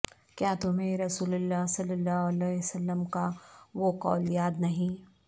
کیا تمہیں رسول اللہ ص کا وہ قول یاد نہیں